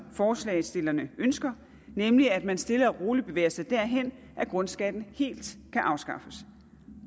forslagsstillerne ønsker nemlig at man stille og roligt bevæger sig derhen hvor grundskatten helt kan afskaffes